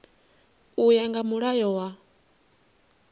u ya nga mulayo wa